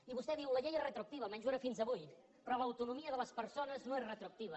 i vostè diu la llei és retroactiva almenys ho era fins avui però l’autonomia de les persones no és retroactiva